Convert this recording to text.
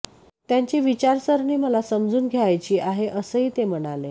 त्यांची विचारसरणी मला समजून घ्यायची आहे असंही ते म्हणाले